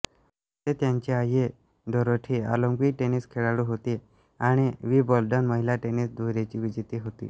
होते त्यांची आई डोरोथी ऑलिंपिक टेनिस खेळाडू होती आणि विंबल्डन महिला टेनिस दुहेरीची विजेती होती